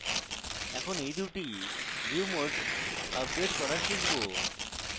এখন এই দুটি view modes আপডেট করা শিখব